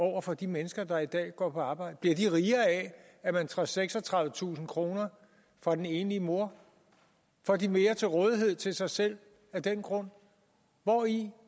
over for de mennesker der i dag går på arbejde bliver de rigere af at man tager seksogtredivetusind kroner fra den enlige mor får de mere til rådighed til sig selv af den grund hvori